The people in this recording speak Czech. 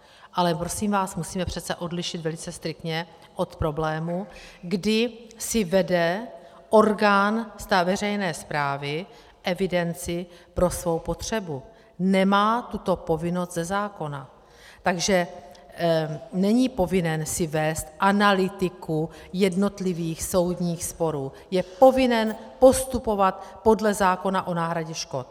Ale prosím vás, musíme přece odlišit velice striktně od problému, kdy si vede orgán veřejné správy evidenci pro svou potřebu, nemá tuto povinnost ze zákona, takže není povinen si vést analytiku jednotlivých soudních sporů, je povinen postupovat podle zákona o náhradě škod.